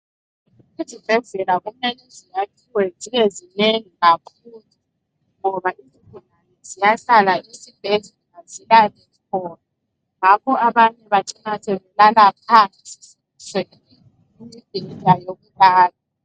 Izibhedlela kumele ziyakhiwe zibe zinengi kakhulu ngoba izigulane ziyahlala esibhedlela zilale khona ngakho abanye bacina sebelala phansi sebeswele indawo yokulala